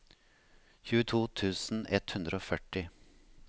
tjueto tusen ett hundre og førti